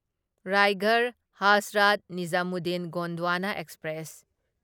Raigarh Hazrat Nizamuddin Gondwana express